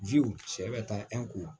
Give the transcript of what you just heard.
cɛ bɛ taa